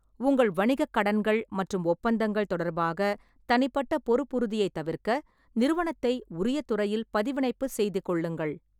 உங்கள் வணிகக் கடன்கள் மற்றும் ஒப்பந்தங்கள் தொடர்பாக தனிப்பட்ட பொறுப்புறுதியைத் தவிர்க்க, நிறுவனத்தை உரிய துறையில் பதிவிணைப்புச் செய்துகொள்ளுங்கள்.